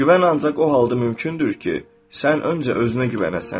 Güvən ancaq o halda mümkündür ki, sən öncə özünə güvənəsən.